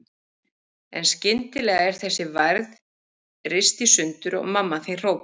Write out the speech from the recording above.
En skyndilega er þessi værð rist í sundur og mamma þín hrópar